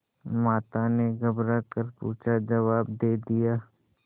माता ने घबरा कर पूछाजवाब दे दिया